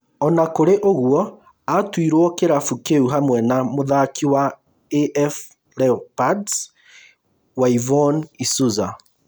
Ona kũrĩ ũguo atuirwo kĩrabu kĩu hamwe na mũthaki wa AF Leopards Whyvonne isuza